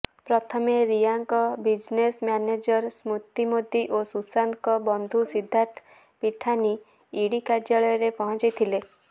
ପ୍ରଥମେ ରିୟାଙ୍କ business manager Shruti Modi ଓ ସୁଶାନ୍ତଙ୍କ ବନ୍ଧୁ ସିଦ୍ଧାର୍ଥ ପିଠାନୀ ଇଡ଼ି କାର୍ଯ୍ୟାଳୟରେ ପହଞ୍ଚିଥିଲେ